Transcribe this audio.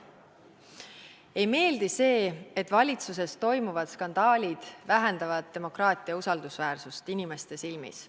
Ei meeldi see, et valitsuses toimuvad skandaalid vähendavad demokraatia usaldusväärsust inimeste silmis.